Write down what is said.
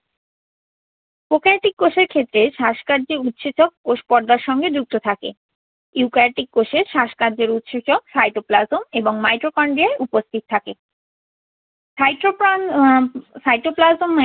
prokaryotic কোষের ক্ষেত্রে শ্বাস কার্যে উৎসেচক কোষ পর্দার সঙ্গে যুক্ত থাকে। eukaryotic কোষের শ্বাসকার্যের উৎসেচক, cytoplasm এবং mitrochonia উপস্থিত থাকে। cytoplasm um cytoplasm